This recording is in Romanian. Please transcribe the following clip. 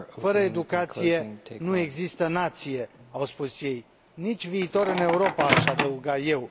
Fără educație, nu există nație, au spus ei, nici viitor în Europa, aș adăuga eu.